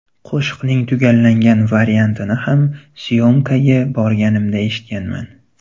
Qo‘shiqning tugallangan variantini ham s’yomkaga borganimda eshitganman.